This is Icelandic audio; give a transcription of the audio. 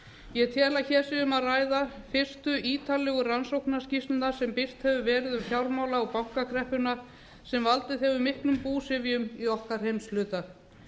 ég tel að hér sé um að ræða fyrstu ítarlegu rannsóknarskýrsluna sem birt hefur verið um fjármála og bankakreppuna sem valdið hefur miklum búsifjum í okkar heimshluta